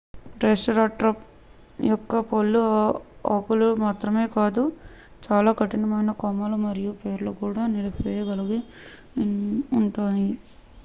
triceratops యొక్క పళ్ళు ఆకులు మాత్రమే కాదు చాలా కఠినమైన కొమ్మలు మరియు వేర్లు కూడా నలిపివేయగలిగి ఉంటాయి